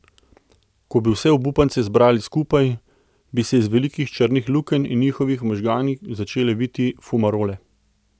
Ko bi vse obupance zbrali skupaj, bi se iz velikih črnih lukenj v njihovih možganih začele viti fumarole.